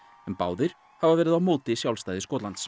en báðir hafa verið á móti sjálfstæði Skotlands